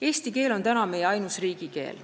Eesti keel on meie ainus riigikeel.